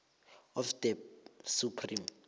of the supreme